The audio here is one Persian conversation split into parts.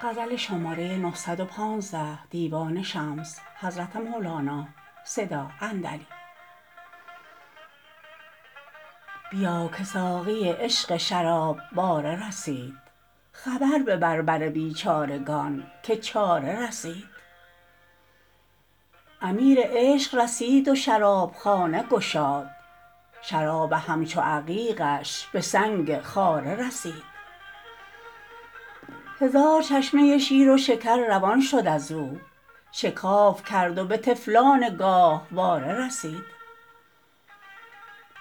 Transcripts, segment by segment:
بیا که ساقی عشق شراب باره رسید خبر ببر بر بیچارگان که چاره رسید امیر عشق رسید و شرابخانه گشاد شراب همچو عقیقش به سنگ خاره رسید هزار چشمه شیر و شکر روان شد از او شکاف کرد و به طفلان گاهواره رسید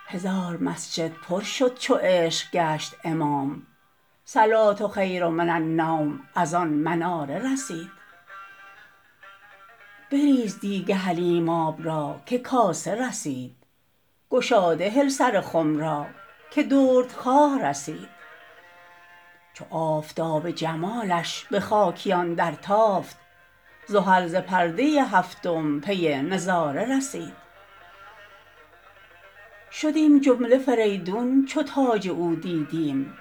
هزار مسجد پر شد چو عشق گشت امام صلوه خیر من النوم از آن مناره رسید بریز دیگ حلیماب را که کاسه رسید گشاده هل سر خم را که دردخواره رسید چو آفتاب جمالش به خاکیان درتافت زحل ز پرده هفتم پی نظاره رسید شدیم جمله فریدون چو تاج او دیدیم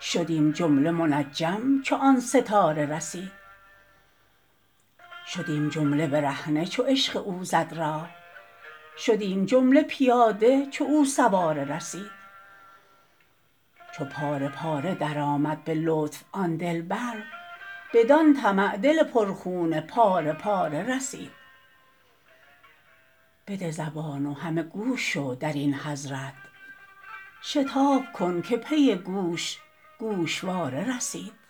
شدیم جمله منجم چو آن ستاره رسید شدیم جمله برهنه چو عشق او زد راه شدیم جمله پیاده چو او سواره رسید چو پاره پاره درآمد به لطف آن دلبر بدان طمع دل پرخون پاره پاره رسید بده زبان و همه گوش شو در این حضرت شتاب کن که پی گوش گوشواره رسید